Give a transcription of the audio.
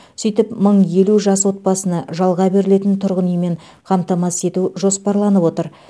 сөйтіп мың елу жас отбасыны жалға берілетін тұрғын үймен қамтамасыз ету жоспарланып отыр